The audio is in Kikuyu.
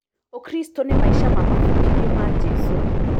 Ũkristo nĩ maica na mabudithio ma Jesu.